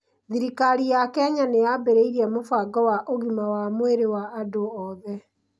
Thirikari ya Kenya nĩ yaambĩrĩirie mũbango wa "Ũgima wa Mwĩrĩ wa Andũ Othe".